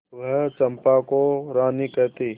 वह चंपा को रानी कहती